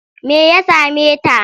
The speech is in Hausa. Me ya same ta?